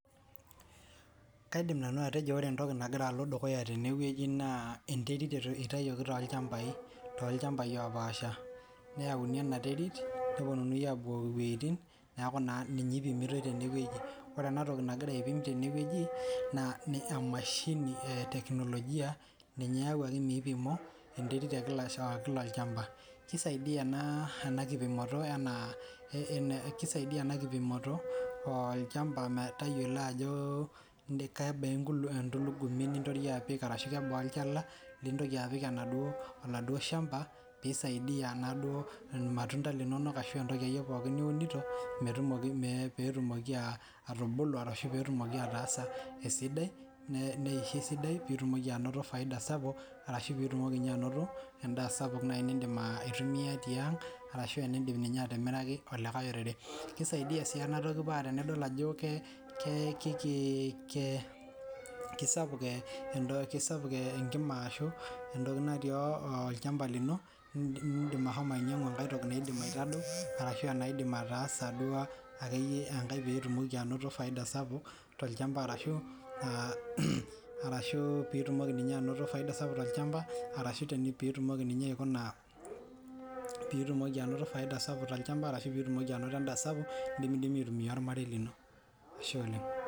Kaidim nanu atejo ore entoki naloito dukuya tene wueji naa enterit intayioki tolchambai opaasha neyauni ena nterit neponunui apukoki neaku naa ninye ipimitoi tene wueji ore enatoki nagira aipim tene wueji naa emashini eteknologia ninye eyawuaki mipimo enterit ekila olchamba kisaidia ena kipimoto enaa kisaidia ena kipimoto olchamba metayiolo ajo kebaa etulubuni nitoria apik arashu kebaa olchala litoria apik enaduo shamba pee isaidia naaduo irmatunda linonok ashu entoki akeyie pookin niunito peetumoki atubulu arashu pee etumoki aatasa esidai neisho esidai pee itumoki anoto faida sapuk arashu pitumoki anoto endaa sapuk naaji nidim aitumia tiang arashu enidim ninye atimiraki olikae orere kisaidia sii enatoki paa tenidol ajo kisapuk ekima ashu etoki natii olchamba lino nidim ashomo ainyiangu ekae toki naidim aitadou ashu enaidim aatasa duo akeyie ekae piitumoki anoto faida sapuk tolchamba arashu pitumoki ninye anoto faida sapuk tolchamba arashu pitumoki ninye aikuna pitumoki anoto faida sapuk tolchamba arashu pitumoki anoto endaa sapuk nidimidimi aitumia ormarei lino Ashe oleng.